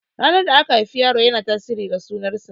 Ranar da aka haifi yaro yana tasirin ga sunan sa.